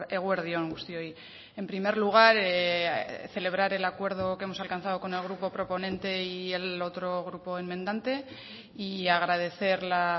eguerdi on guztioi en primer lugar celebrar el acuerdo que hemos alcanzado con el grupo proponente y el otro grupo enmendante y agradecer la